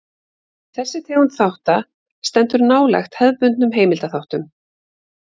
Þessi tegund þátta stendur nálægt hefðbundnum heimildaþáttum.